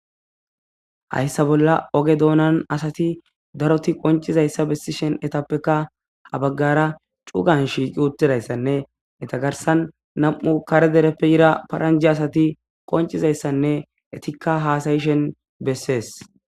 hayssa bolla oge doonan asati daroti qoncizayssa bessishen etappeka ha baggara cugan shiq ttidayssanne itagarsan nam7u kare dereppe ira paranje asati qoncizayssanne etikka haasayishen bessees